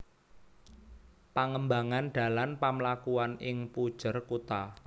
Pangembangan dalan pamlakuan ing punjer kutha